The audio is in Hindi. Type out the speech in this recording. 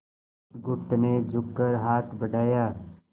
बुधगुप्त ने झुककर हाथ बढ़ाया